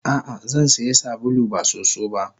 Ah ah Zansiya sabulu ba soso ba.